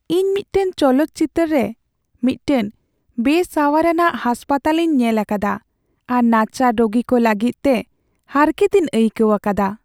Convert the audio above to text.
ᱤᱧ ᱢᱤᱫᱴᱟᱝ ᱪᱚᱞᱚᱛ ᱪᱤᱛᱟᱹᱨ ᱨᱮ ᱢᱤᱫᱴᱟᱝ ᱵᱮᱼᱥᱟᱣᱟᱨᱟᱱᱟᱜ ᱦᱟᱥᱯᱟᱛᱟᱞ ᱤᱧ ᱧᱮᱞ ᱟᱠᱟᱫᱟ ᱟᱨ ᱱᱟᱪᱟᱨ ᱨᱳᱜᱤ ᱠᱚ ᱞᱟᱹᱜᱤᱫᱛᱮ ᱦᱟᱨᱠᱮᱛᱤᱧ ᱟᱹᱭᱠᱟᱹᱣ ᱟᱠᱟᱫᱟ ᱾